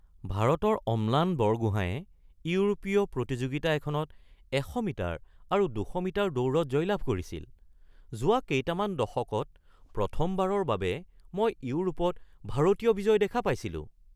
ভাৰতৰ অম্লান বৰগোহাঁইয়ে ইউৰোপীয় প্ৰতিযোগিতা এখনত ১০০ মিটাৰ আৰু ২০০ মিটাৰ দৌৰত জয়লাভ কৰিছিল। যোৱা কেইটামান দশকত প্ৰথমবাৰৰ বাবে মই ইউৰোপত ভাৰতীয় বিজয় দেখা পাইছিলোঁ